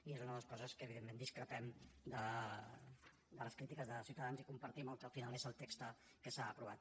i és una de les coses en què evidentment discrepem de les crítiques de ciutadans i compartim el que al final és el text que s’ha aprovat